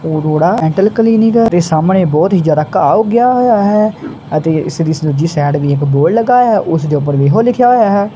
Arora dental clinic ਤੇ ਸਾਹਮਣੇ ਬਹੁਤ ਹੀ ਜਿਆਦਾ ਘਾਹ ਉਗਿਆ ਹੋਇਆ ਹੈ ਅਤੇ ਇਸੇ ਦੀ ਦੂਜੀ ਸਾਈਡ ਤੇ ਇੱਕ ਬੋਰਡ ਲੱਗਿਆ ਹੋਇਆ ਹੈ ਤੇ ਉਸ ਦੇ ਉੱਪਰ ਵੀ ਇਹੋ ਲਿਖਿਆ ਹੋਇਆ ਹੈ।